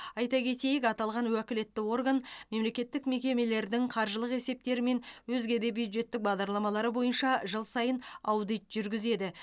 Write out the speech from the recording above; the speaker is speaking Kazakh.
айта кетейік аталған уәкілетті орган мемлекеттік мекемелердің қаржылық есептері мен өзге де бюджеттік бағдарламалары бойынша жыл сайын аудит жүргізеді